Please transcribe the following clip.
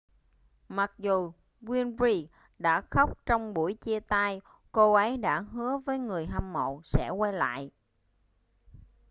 mặc dù winfrey đã khóc trong buổi chia tay cô ấy đã hứa với người hâm mộ sẽ quay lại